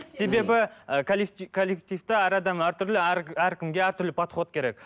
себебі ы коллективте әр адам әртүрлі әркімге әртүрлі подход керек